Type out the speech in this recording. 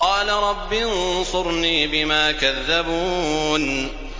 قَالَ رَبِّ انصُرْنِي بِمَا كَذَّبُونِ